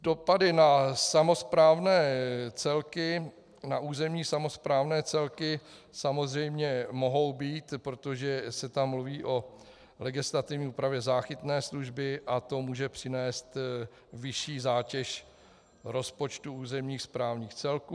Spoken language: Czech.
Dopady na územní samosprávné celky samozřejmě mohou být, protože se tam mluví o legislativní úpravě záchytné služby a to může přinést vyšší zátěž rozpočtu územních správních celků.